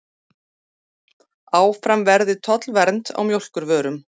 Áfram verði tollvernd á mjólkurvörum